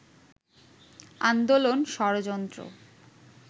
আন্দোলন, ষড়যন্ত্র